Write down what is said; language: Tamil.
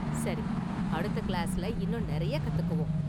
சரி, அடுத்த கிளாஸ்ல​ இன்னும் நிறைய கத்துக்குவோம்.